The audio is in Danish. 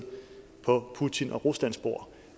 på putin og ruslands bord